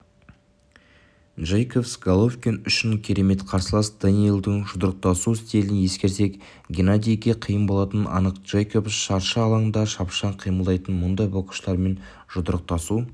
джейкобс головкин үшін керемет қарсылас дэниелдің жұдырықтасу стилін ескерсек геннадийге қиын болатыны анық джейкобс шаршы алаңда шапшаң қимылдайды мұндай боксшылармен жұдырықтасу